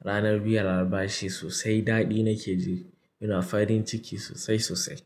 Ranar biyan albashi sosai daɗi nake ji, ina farin ciki sosai sosai.